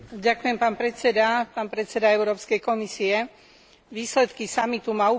Výsledky samitu ma upokojili, lebo sa zdá, že budúci rast Európy je istý.